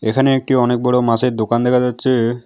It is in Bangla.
এখানে একটি অনেক বড় মাছের দোকান দেখা যাচ্ছে।